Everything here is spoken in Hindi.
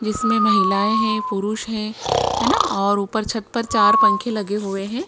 जिसमें महिलाएँ हैं पुरुष हैं है ना और ऊपर छत पर चार पंखे लगे हुए हैं।